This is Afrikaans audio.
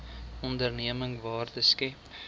onderneming waarde skep